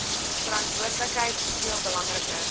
verantwoordelikheid soveel belangriker